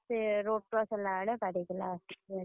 ସେ road cross ହେଲାବେଳେ ବାଡ଼େଇଦେଲା ଗାଡି।